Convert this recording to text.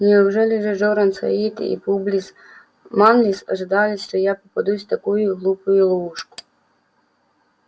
неужели же джоран саит и публис манлис ожидали что я попадусь в такую глупую ловушку